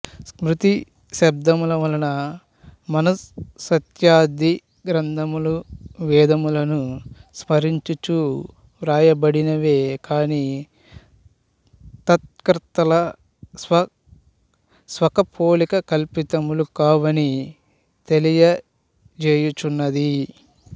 స్మృతి శబ్దమువలన మనుస్మృత్యాది గ్రంథములు వేదములను స్మరించుచు వ్రాయబడినవే కాని తత్కర్తల స్వకపోలకల్పితములు కావని తెలియుచున్నది